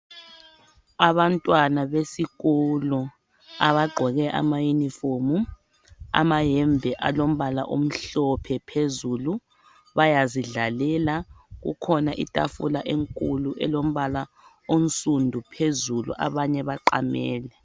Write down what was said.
Abantwana besikolo abagqoke amayunifomu , amayembe alombala omhlophe phezulu, bayazidlalela. Kukhona itafula enkulu elombala onsundu phezulu, abanye baqamele.